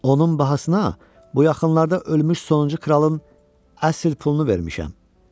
Onun bahasına bu yaxınlarda ölmüş sonuncu kralın əsl pulunu vermişəm.